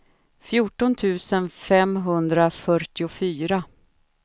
fjorton tusen femhundrafyrtiofyra